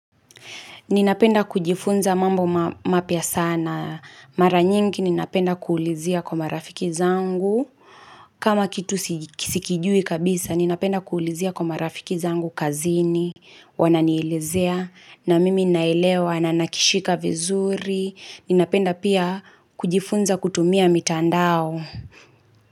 Ninapenda kujifunza mambo mapya sana. Mara nyingi ninapenda kuulizia kwa marafiki zangu. Kama kitu sikijui kabisa ninapenda kuulizia kwa marafiki zangu kazini. Wananielezea na mimi naelewa na nakishika vizuri. Ninapenda pia kujifunza kutumia mitandao.